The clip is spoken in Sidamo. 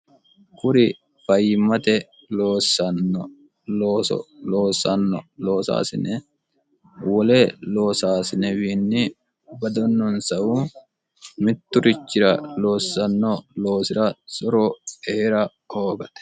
kuri fayyimmate osso loossanno loosaasine wole loosaasinewiinni badonnonsahu mitturichira loossanno loosi'ra soro eera koogate